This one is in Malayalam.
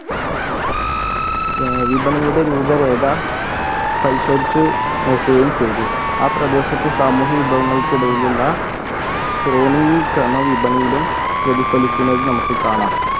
ഏർ വിപണിയുടെ രൂപരേഖ പരിശോധിച്ച് നോക്കുകയും ചെയ്‌തു ആ പ്രദേശത്തെ സാമൂഹിക വിഭവങ്ങൾക്കിടയിലുള്ള ശ്രോണീ ക്രമ വിപണിയിലും പ്രതിഫലിക്കുന്നത് നമുക്ക് കാണാം